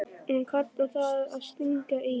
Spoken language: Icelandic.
Og hann kallar það að stinga í.